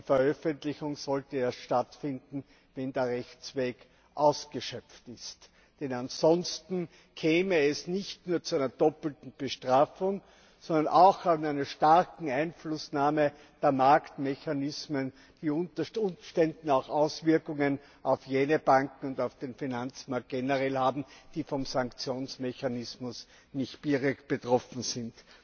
Die Veröffentlichung sollte erst stattfinden, wenn der Rechtsweg ausgeschöpft ist, denn ansonsten käme es nicht nur zu einer doppelten Bestrafung, sondern auch zu einer starken Einflussnahme der Marktmechanismen, die unter Umständen auch Auswirkungen auf jene Banken und auf den Finanzmarkt generell haben, die vom Sanktionsmechanismus nicht direkt betroffen sind.